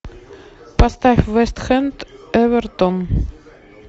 поставь вест хэм эвертон